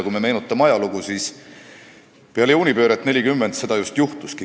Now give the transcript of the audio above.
Kui me meenutame ajalugu, siis teame, et peale juunipööret 1940 see just juhtuski.